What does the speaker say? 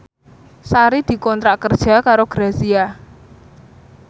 Sari dikontrak kerja karo Grazia